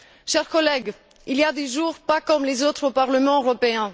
Chers collègues, il y a des jours pas comme les autres au Parlement européen.